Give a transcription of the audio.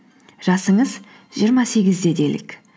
жасыңыз жиырма сегізде делік